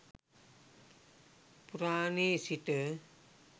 පුරාණයේ සිට